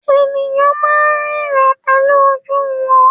Ènìyàn máà ń ríran pẹ̀lú ojú wọn.